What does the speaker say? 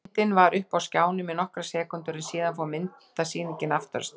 Myndin var uppi á skjánum í nokkrar sekúndur en síðan fór myndasýningin aftur af stað.